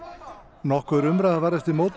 nokkur umræða varð eftir mótmæli